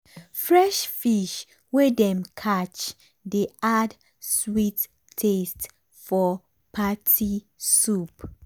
fresh fish wey dem catch dey add sweet taste for party soup.